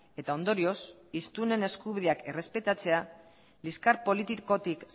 eta ondorioz hiztunen eskubideak errespetatzea liskar politikotik